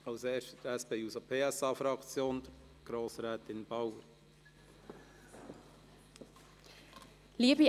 als Erstes für die SP-JUSO-PSA-Fraktion: Grossrätin Bauer.